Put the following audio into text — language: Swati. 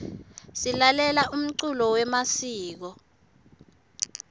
silalela umculo yemasiko